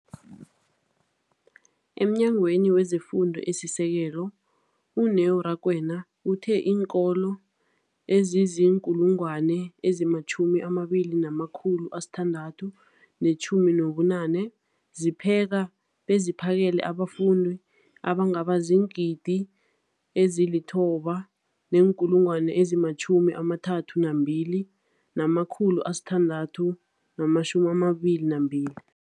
EmNyangweni wezeFundo esiSekelo, u-Neo Rakwena, uthe iinkolo ezizi-20 619 zipheka beziphakele abafundi abangaba ziingidi ezili-9 032 622